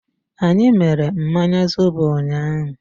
Anyị mere mmanya zobo ụnyaahụ.